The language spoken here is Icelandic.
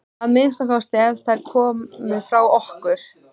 Að minnsta kosti ef þær komu frá okkur.